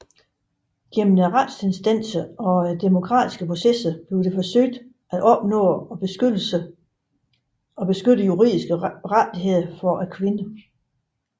Gennem retsinstanser og demokratiske processer forsøges der at opnå og beskytte juridiske rettigheder for kvinder